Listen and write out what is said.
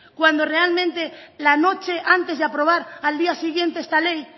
cuando realmente la noche antes de aprobar al día siguiente esta ley